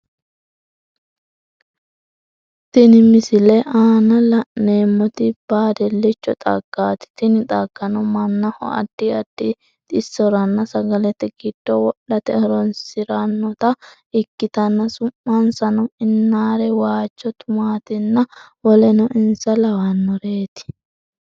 Tini misile aanna la'neemoti baadilicho xaggaati tinni xaggano manaho addi addi xisoranna sagalete gido wodhate horonsiranota ikitanna su'minsano innaare, waajo tumaatinna woleno insa lawanoreeti.